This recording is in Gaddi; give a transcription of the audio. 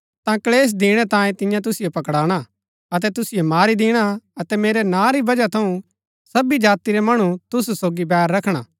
ता क्‍लेश दिणै तांयें तियां तुसिओ पकड़ाणा अतै तुसिओ मारी दिणा अतै मेरै नां री बजह थऊँ सबी जाति रै मणु तुसु सोगी बैर रखणा